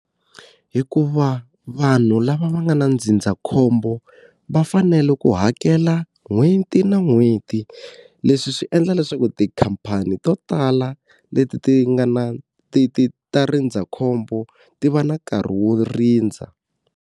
Hikuva vanhu lava va nga na ndzindzakhombo, va fanele ku hakela n'hweti na n'hweti. Leswi swi endla leswaku tikhamphani to tala leti ti nga na ti ti ta rindzakhombo ti va na nkarhi wo rindza.